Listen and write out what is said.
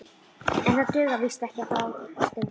En það dugar víst ekkert að fást um það.